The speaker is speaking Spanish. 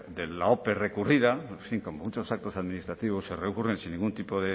de la ope recurrida en fin como muchos actos administrativos se recurren sin ningún tipo